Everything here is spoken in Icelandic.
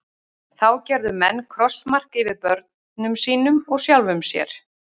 Þá gerðu menn krossmark yfir börnum sínum og sjálfum sér.